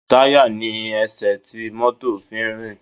Táyà ni ẹsẹ̀ tí mọ́tò fi ń rìn